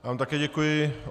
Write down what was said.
Já vám také děkuji.